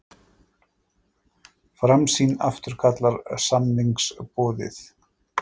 Framsýn afturkallar samningsumboðið